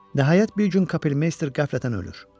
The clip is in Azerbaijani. Nəhayət bir gün kapelmeyster qəflətən ölür.